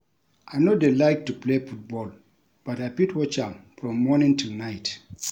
I no dey like to play football but I fit watch am from morning till night